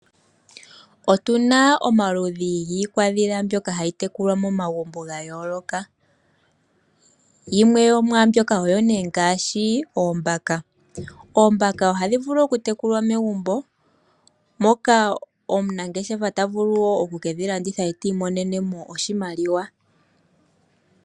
Otuna omaludhi giikwadhila mbyoka hayi twkulwa momagumbo ya yooloka, yimwe yomwaambyoka oyo nee ngaashi oombaka. Oombaka ohadhi vulu oku tekulwa megumbo moka omunangeshefa tavulu woo oku kedhi landitha ye ti imonenemo oshimaliwa.